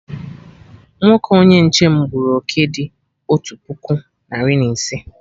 Nwoke onye nche m gburu oké dị otu puku narị na ise